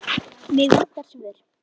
Mig vantar svör.